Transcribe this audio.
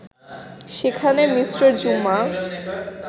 সেখানে মি. জুমা